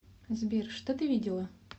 сбер что ты видела